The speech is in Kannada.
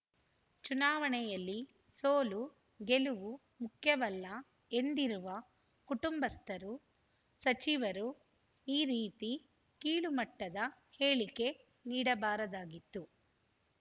ಚುನಾವಣೆಯಲ್ಲಿ ಸೋಲುಗೆಲುವು ಮುಖ್ಯವಲ್ಲ ಎಂದಿರುವ ಕುಟುಂಬಸ್ಥರು ಸಚಿವರು ಈ ರೀತಿ ಕೀಳುಮಟ್ಟದ ಹೇಳಿಕೆ ನೀಡಬಾರದಾಗಿತ್ತು